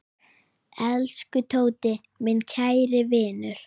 Elsku Tóti, minn kæri vinur.